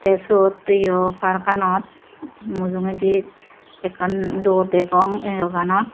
te suwot eowe parkkanot mujugaydi ekan dordegong eogenot.